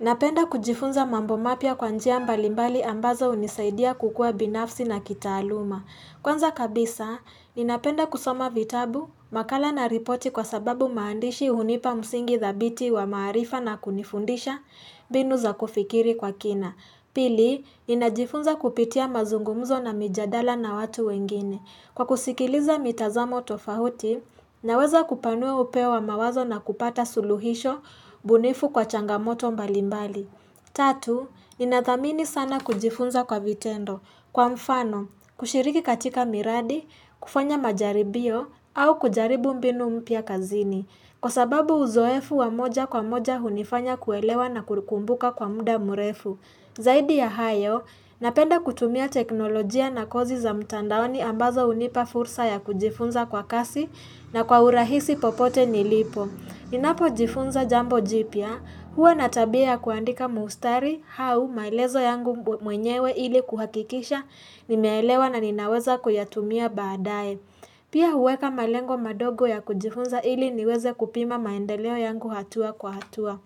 Napenda kujifunza mambo mapya kwa njia mbalimbali ambazo hunisaidia kukua binafsi na kitaaluma. Kwanza kabisa, ninapenda kusoma vitabu, makala na ripoti kwa sababu maandishi hunipa msingi thabiti wa maarifa na kunifundisha mbinu za kufikiri kwa kina. Pili, ninajifunza kupitia mazungumzo na mijadala na watu wengine. Kwa kusikiliza mitazamo tofauti, naweza kupanua upeo wa mawazo na kupata suluhisho bunifu kwa changamoto mbalimbali. Tatu, ninadhamini sana kujifunza kwa vitendo. Kwa mfano, kushiriki katika miradi, kufanya majaribio au kujaribu mbinu mpya kazini. Kwa sababu uzoefu wa moja kwa moja hunifanya kuelewa na kukumbuka kwa muda murefu. Zaidi ya hayo, napenda kutumia teknolojia na kozi za mtandaoni ambazo hunipa fursa ya kujifunza kwa kasi na kwa urahisi popote nilipo. Ninapojifunza jambo jipya, huwa na tabia ya kuandika mustari hau maelezo yangu mwenyewe ili kuhakikisha nimeelewa na ninaweza kuyatumia baadaye. Pia huweka malengo madogo ya kujifunza ili niweze kupima maendeleo yangu hatua kwa hatua.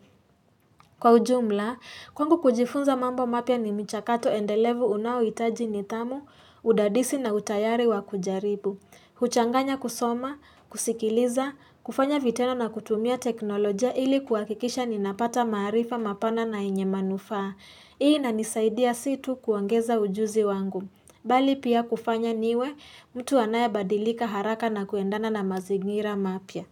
Kwa ujumla, kwangu kujifunza mambo mapya ni michakato endelevu unaohitaji nidhamu, udadisi na utayari wa kujaribu. Huchanganya kusoma, kusikiliza, kufanya vitendo na kutumia teknolojia ili kuhakikisha ninapata maarifa mapana na yenye manufaa. Hii inanisaidia si tu kuongeza ujuzi wangu. Bali pia kufanya niwe mtu anaye badilika haraka na kuendana na mazingira mapya.